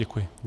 Děkuji.